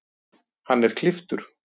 Hann er klipptur